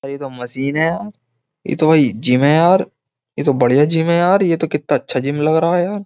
ये तो मशीन है यार ये तो भाई जिम है यार ये तो बढ़िया जिम है यार ये तो कितना अच्छा जिम लग रहा है यार।